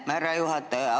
Aitäh, härra juhataja!